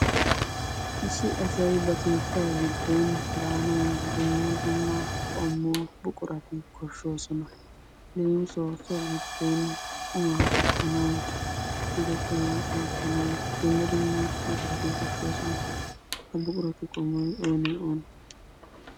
Issi asay ba keettaa giddon daanawu dumma dumma qommo buqurati koshshoosona. Leemissuwawu so giddon qummaa kattanawu ka'ida qummaa aattanawu dumma dumma buqurati koshshoosona. Ha buquratu qommoy oonee oonee?